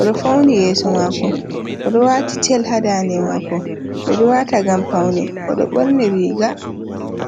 Oɗo fauni yeeso maako, oɗo waati cel haa ndande maako, ɓe ɗo waata ngam paune, oɗo ɓorni riga.